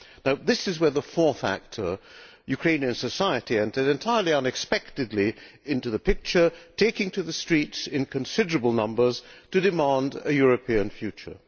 Now this is where the fourth actor, Ukrainian society, entered entirely unexpectedly into the picture, taking to the streets in considerable numbers to demand a European future.